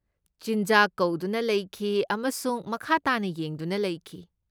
ꯆꯤꯟꯖꯥꯛ ꯀꯧꯗꯨꯅ ꯂꯩꯈꯤ ꯑꯃꯁꯨꯡ ꯃꯈꯥ ꯇꯥꯅ ꯌꯦꯡꯗꯨꯅ ꯂꯩꯈꯤ꯫